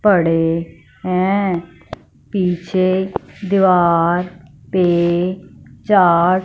पड़े हैं पीछे दिवार पे चार--